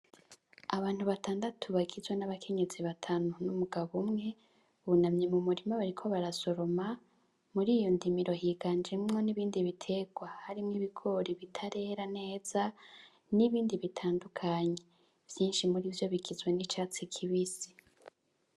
Abantu batandatu bagizwe n'abakenyezi batanu n'umugabo umwe bunamye mu murima bariko barasoroma muriyo ndimiro higanjemwo nibindi bitegwa harimwo ibigori bitarera neza nibindi bitandukanye vyinshi murivyo bigizwe n'icatsi kibisi.